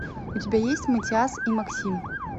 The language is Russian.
у тебя есть матиас и максим